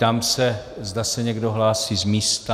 Ptám se, zda se někdo hlásí z místa.